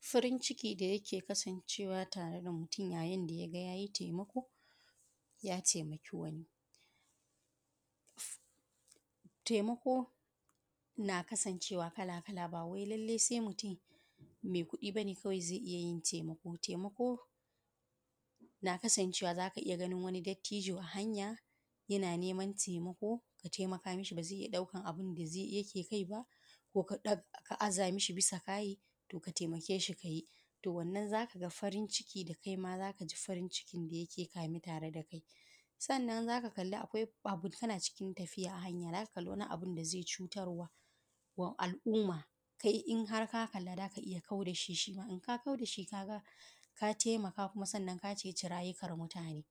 farin ciki da yake kasancewa tare da mutum yayin da yaga yayi taimako ya taimaki wani taimako na kasancewa kala kala bawai lallai sai mutum mai kuɗi bane zai iya yin taimako taimako na kasancewa zaka iya ganin wani dattijo a hanya yana neman taimako ka taimaka mishi baba zai iya ɗaukan abun da zai yake kai ba ko ka aza mishi busa kayai to ka taimake shi ka yi to wannnan kaima zaka ja farin ciki da yake tare da kai sannan zaka kalli akwai agwagwa tana cikin tafiya zaka ga abun da zai cutarwa wa al`umman in kai in harka kalla zaka iya kau da shi shi ma in ka kau da shi sannan kuma ka ceʧi rajukan mutane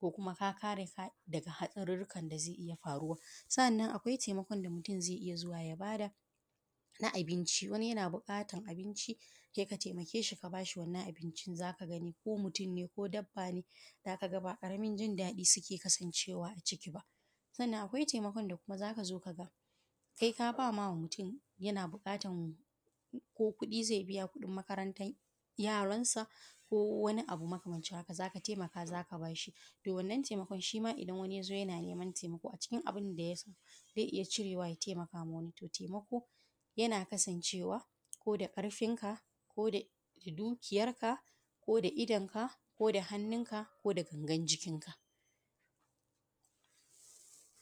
ko kuma ka kare mutane daga haɗarurukan da zai iya faruwa sa`anan akwai taimakon da mutum zai iya zuwa ya bada na: abinci wani yana buƙatan abinci sai ka taimake shi ka bashi wannan abincin zaka gani ko mutum ne ko dabba ne zaka ga ba ƙaramin jin daɗi suke kasancewa ba a ciki ba sannan akwai taimakon da zaka ga kai kaba ma mutum yana buƙatan kuɗin makarantar yaransa ko wani abu makamancin haka zaka taimaka zaka bada a bashi to wannan taimakon shi ma idan wani ya zo yana neman taimako a cikin abin da ya samu zai iya cirewa ya taimakawa wani to taimako yana kasancewa ko da ƙarfin ka ko da dukiyarka ko da idan ka ko da hannun ka ko da gangan jikin ka